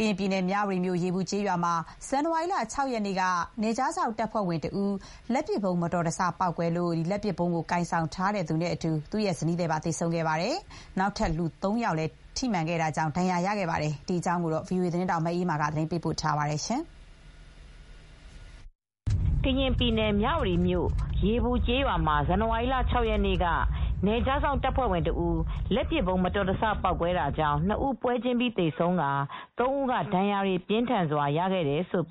ကရင်ပြည်နယ် မြဝတီမြို့၊ ရေပူကျေးရွာမှာ ဇန်နဝါရီလ ၆ရက်က နယ်ခြားစောင့်တပ်ဖွဲ့ဝင်တဦး လက်ပစ်ဗုံးမတော်တဆ ပေါက်ကွဲတာကြောင့် လက်ပစ်ဗုံးကိုင်ဆောင်ထားတဲ့ သူအပါအဝင် သူဇနီးပါသေဆုံးခဲ့ပြီးတခြား လူ ၃ ဦးကို ထိမှန်တာကြောင့် ဒဏ်ရာတွေရခဲ့ပါတယ် ။ ဒီသတင်းကို ဗွီအိုအေသတင်းထောက် မအေးအေးမာကသတင်းပေးပို့ထားပါတယ်။ ကရင်ပြည်နယ် မြဝတီမြို့၊ ရေပူကျေးရွာမှာ ဇန်နဝါရီလ ၆ရက်က နယ်ခြားစောင့်တပ်ဖွဲ့ဝင်တဦး လက်ပစ်ဗုံးမတော်တဆ ပေါက်ကွဲတာကြောင့် ၂ဦးပွဲချင်းပြီး သေဆုံးကာ ၃ဦးက ဒဏ်ရာတွေပြင်းထန်စွာရခဲ့တယ်လို့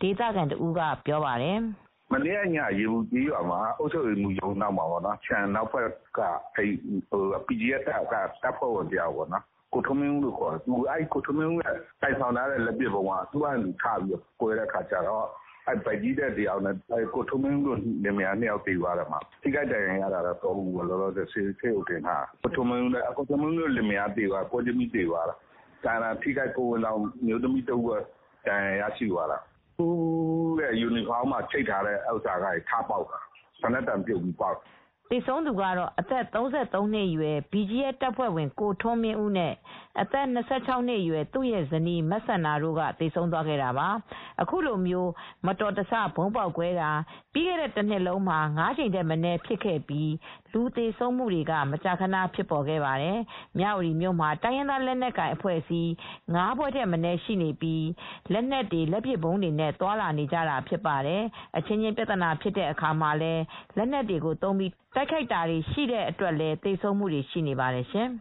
ဒေသခံတဦးကပြောပါတယ်။ "မနေ့ညက ရေပူကျေးရွာဘက်မှာ အုပ်ချုပ်ရေးမှူးရုံးနောက်က BGF တပ်ဖွဲ့ဝင်တယောက်ပေါ့ ကိုထွန်းမင်းဦးလို့ခေါ်တယ်။ ထွန်းမင်းဦးကိုင်ဆောင်ထားတဲ့ လက်ပစ်ဗုံးက သူဖာသူထပေါက်တော့ သူတို့လင်မယား ၂ဦးလည်းသေတယ်။ ထိခိုက်ဒဏ်ရာရတာက ၃ဦး လောလောဆယ် ဆေးရုံတင်ထားရတယ်။ ကိုထွန်းမင်းဦးတို့လင်မယားကတော့ ပွဲချင်းပြီးသေဆုံးသွားတယ်။ ကျန်တာဗိုက်ကြီးတဦးအပါအဝင်ဒဏ်ရာရရှိကြတယ်၊ သူ့ရဲ့ယူနီဖောင်းမှာရှိတာကနေ ထပေါက်တာ စနက်တံပြုတ်ပြီး ထပေါက်တာ" သေဆုံးသူကတော့အသက် ၃၃နှစ်အရွယ် BGF တပ်ဖွဲ့ဝင်ကိုထွန်းမင်းဦးနဲ့ အသက် ၂၆နှစ်အရွယ်သူရဲ့ဇနီး မစန္ဒာတို့ ကသေဆုံးသွားခဲ့တာပါ၊ အခုလိုမျိုး မတော်တဆ ဗုံးပေါက်ကွဲတာ ကျည်ဆံထွက်တာတွေဟာ ပြီးခဲ့တဲ့တနှစ်လုံးမှာ ၅ကြိမ်ထက်မနည်းဖြစ်ခဲ့ပြီး လူသေဆုံးမှုတွေက မကြာခဏ ဖြစ်ပေါ်ခဲ့ပါတယ် ။ မြ၀တီမြို့မှာတိုင်းရင်းသားလက်နက်ကိုင် ၅ဖွဲ့ထက်မနည်း ရှိနေပြီး လက်နက်တွေ လက်ပစ်ဗုံးတွေနဲ့သွားလာနေကြတာဖြစ်ပါတယ်။ အချင်းချင်းပြဿနာဖြစ် အချင်းများတဲ့အခါမှာလည်း လက်နက်ကိုသုံးပြီးတိုက်ခိုက်တာတွေရှိတဲ့အတွက်လည်း သေဆုံးမှုတွေရှိနေပါတယ်ရှင်။